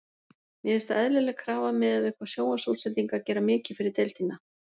Mér finnst það eðlileg krafa miðað við hvað sjónvarpsútsendingar gera mikið fyrir deildina.